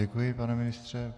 Děkuji, pane ministře.